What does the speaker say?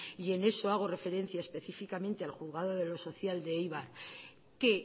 y en eso hago referencia específicamente al juzgado de lo social de eibar que